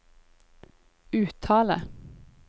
uttale